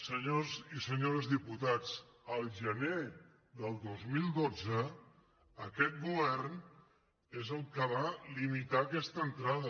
senyores i senyors diputats el gener del dos mil dotze aquest govern és el que va limitar aquesta entrada